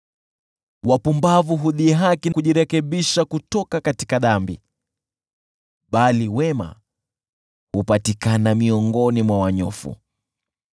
Wapumbavu hudhihaki kujirekebisha kutoka dhambi, bali wema hupatikana miongoni mwa wanyofu.